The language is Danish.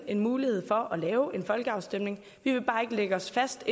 en mulighed for at lave en folkeafstemning vi vil bare ikke lægge os fast